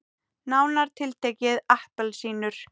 Nánar tiltekið appelsínur.